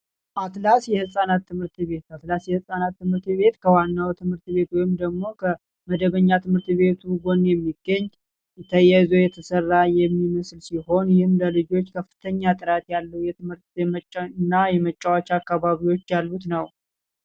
አትላስ የህፃናት ትምህርት ቤት የህፃናት ትምህርት ቤት ከዋናው ትምህርት ቤት ወይም ደሞ መደበኛ ትምህርት ቤቱ የሚገኝ ዙሪያ የተሰራ የሚመስል ሲሆን ይህም ልጆች ከፍተኛ ጥራት ያሉ የትምህርት እና የመጫወቻ አከባቢዎች ያሉት ነው